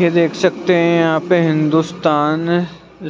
ये देख सकते हैं यहाँ पे हिंदुस्तान